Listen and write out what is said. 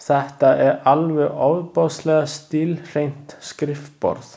Þetta er alveg ofboðslega stílhreint skrifborð!